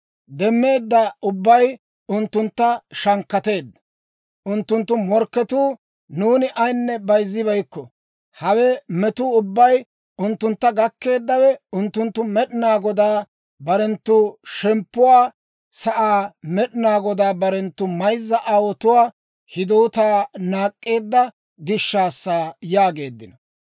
Demmeedda ubbay unttuntta shankkateedda. Unttunttu morkketuu, ‹Nuuni ayinne bayzzibeykko; hawe metuu ubbay unttuntta gakkeeddawe, unttunttu Med'inaa Godaa, barenttu shemppuwaa sa'aa, Med'inaa Godaa barenttu mayzza aawotuwaa hidootaa naak'k'eedda gishshaassa› yaageeddino.